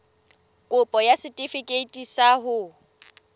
kopo ya setefikeiti sa ho